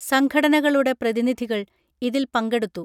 സംഘടനകളുടെ പ്രതിനിധികൾ ഇതിൽ പങ്കെടുത്തു